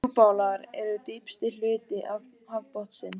Djúpálar eru dýpsti hluti hafsbotnsins.